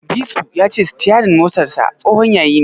Disu ya ce sitiyarin motarsa tsohon yayi ne.